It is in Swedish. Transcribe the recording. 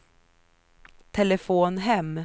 telefon hem